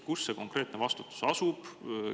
Kellel see konkreetne vastutus lasub?